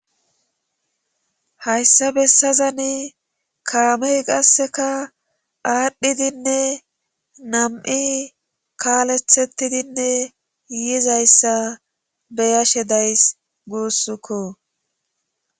Hayssa bessazani kaamey qasseka aadhdhidinne nam7i kaalethettidinne yiizayssa beyashe days guussukko,